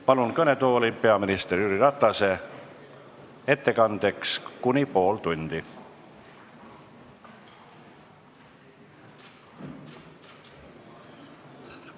Palun kõnetooli peaminister Jüri Ratase, ettekandeks kuni pool tundi!